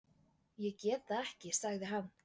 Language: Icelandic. Ég get það ekki sagði hann.